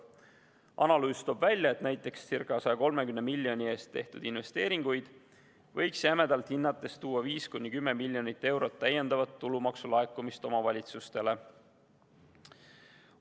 Analüüs toob välja, et näiteks ca 130 miljoni eest tehtud investeeringud võiks jämedalt hinnates tuua kaasa 5–10 miljonit eurot täiendava tulumaksu laekumist omavalitsustele.